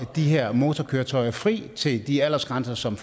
de her motorkøretøjer fri i til de aldersgrænser som